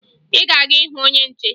Ị ga-aga hụ onye nche!